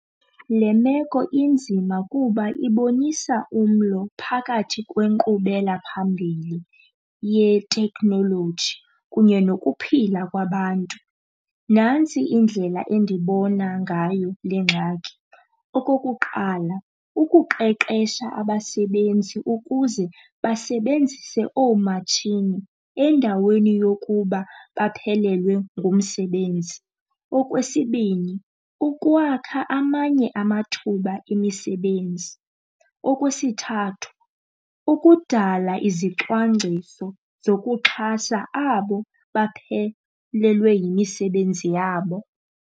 Le meko inzima kuba ibonisa umlo phakathi kwenkqubelaphambili yeteknoloji kunye nokuphila kwabantu. Nantsi indlela endibona ngayo le ngxaki. Okokuqala, ukuqeqesha abasebenzi ukuze basebenzise oomatshini endaweni yokuba baphelelwe ngumsebenzi. Okwesibini, ukwakha amanye amathuba emisebenzi. Okwesithathu, ukudala izicwangciso zokuxhasa abo baphelelwe yimisebenzi yabo.